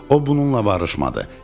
O bununla barışmadı.